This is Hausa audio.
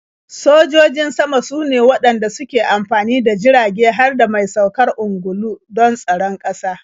Sojojin sama sune waɗanda suke amfani da jirage har da mai saukar ungulu don tsaron ƙasa.